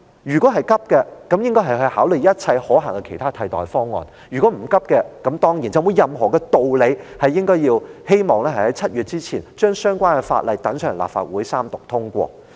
如果急，他便應該要考慮一切可行的替代方案；如果不着急，他便沒有任何道理，希望在7月前把相關法例交到立法會三讀通過。